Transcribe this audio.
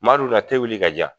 Madu na wuli k'a di yan